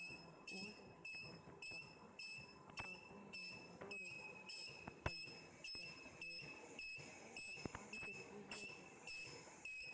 ஆஹ் old light house ன்னு சொன்னா அப்புறம் வந்து, ஏதோ ஒரு விநாயகர் temple உ church நிறைய சொன்னா பாண்டிச்சேரி museum இருக்காமே